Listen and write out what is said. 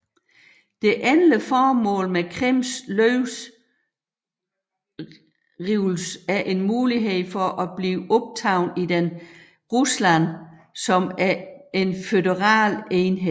Det endelige formål med Krims løvrivelse er en mulighed for at blive optaget i den Rusland som en føderal enhed